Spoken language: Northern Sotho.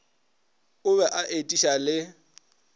o be a etiša le